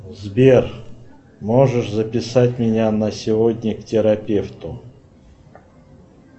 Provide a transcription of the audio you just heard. сбер можешь записать меня на сегодня к терапевту